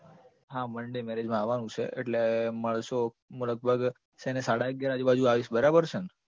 હા monday marriage માં આવવાનું છે એટલે મળશું. હું લગભગ છે ને સાડા અગિયાર આજુબાજુ આવીશ બરાબર છે ને